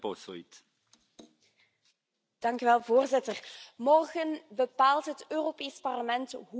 Voorzitter, morgen bepaalt het Europees Parlement hoe het het auteursrecht wil hervormen.